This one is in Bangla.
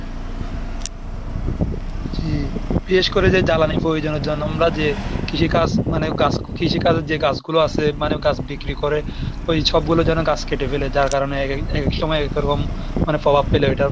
জি বিশেষ করে যে জ্বালানি প্রয়োজনের জন্য আমরা যে কৃষিকাজ মানে গাছ কৃষিকাজের যে গাছগুলো আছে, মানে গাছ বিক্রি করে ওই সবগুলো যেন গাছ কেটে ফেলে, যার কারণে এক এক সময় একরকম মানে প্রভাব ফেলে ওইটা।